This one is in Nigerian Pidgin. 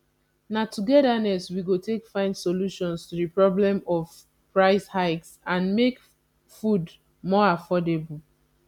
na togetherness we go take find solutions to di problem of price hikes and make food more affordable